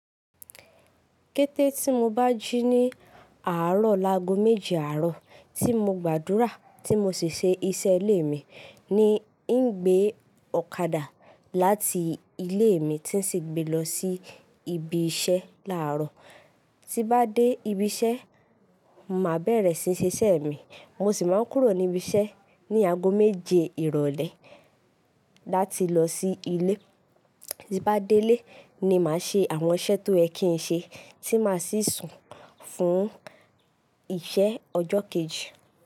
Kété tí mo bá jí ní àárọ̀, lágo méje àárọ̀ tí mo gbàdúrà tí mo sì ṣe iṣẹ́ ilé mi ni í ń gbé ọ̀kadà láti ilé mi tí sì gbe lọ sí ibi iṣẹ́ láàárọ̀. Tí bá dé ibi iṣẹ́, màá bẹ̀rẹ̀ síí ṣe iṣẹ́ mi. Mo sì máa ń kúrò ní ibi iṣẹ́ ní ago méje ìrọ̀lẹ́ láti lọ sí ilé. Tí bá dé ilé ni màá ṣe àwọn iṣẹ́ tó ẹ ki ń ṣe tí màá sì sùn fún iṣẹ́ ọjọ́ kejì.